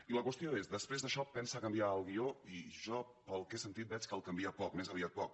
i la qüestió és després d’això pensa canviar el guió i jo pel que he sentit veig que el canvia poc més aviat poc